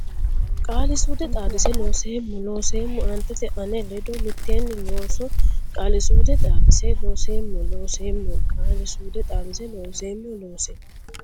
Qaali suude Xaadisa Loonseemmo Looseemmo aantete ane ledo mitteenni loonso Qaali suude Xaadisa Loonseemmo Looseemmo Qaali suude Xaadisa Loonseemmo Looseemmo.